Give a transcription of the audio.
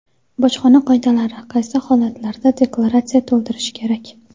Bojxona qoidalari: Qaysi holatlarda deklaratsiya to‘ldirish kerak?.